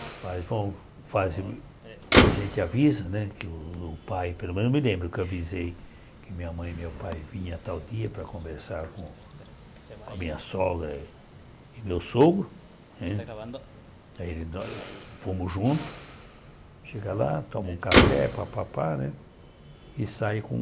Os pais, bom, fazem a gente avisa, né, que o pai, pelo menos eu me lembro que avisei que minha mãe e meu pai vinham tal dia para conversar com com a minha sogra e meu sogro, né, aí nós fomos juntos, chega lá, toma um café, papapá, né, e sai com...